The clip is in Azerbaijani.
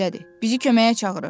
Bizi köməyə çağırır.